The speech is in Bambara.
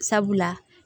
Sabula